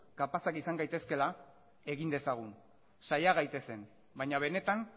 kapazak izan gaitezkeela egin dezagun saia gaitezen baina benetan